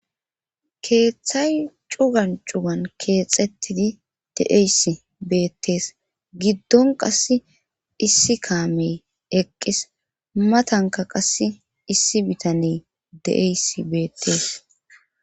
Keethan cugan cugan keexetidi de'eesi beetees. Gidon qassi issi kaame eqqis matankka qasi issi bitane de'yayssi beetees.